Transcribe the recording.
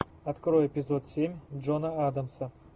открой эпизод семь джона адамса